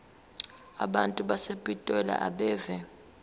abantu basepitoli abeve